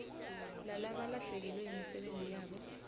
lalabalahlekelwe yimisebenti yabo